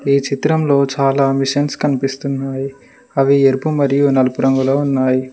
ఈ చిత్రంలో చాలా మిషన్స్ కనిపిస్తున్నాయి అవి ఎరుపు మరియు నలుపు రంగులో ఉన్నాయి.